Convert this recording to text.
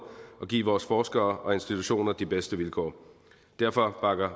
og give vores forskere og institutioner de bedste vilkår derfor bakker